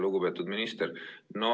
Lugupeetud minister!